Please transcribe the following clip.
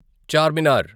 Charminar